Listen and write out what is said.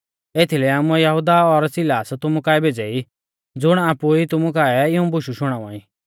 एथीलै आमुऐ यहुदा और सिलास तुमु काऐ भेज़ै ई ज़ुण आपु ई तुमु काऐ इऊं बुशु शुणावा ई